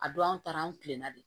A don an taara an tilenna de